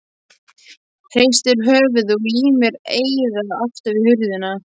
Hristir höfuðið og límir eyrað aftur við hurðina.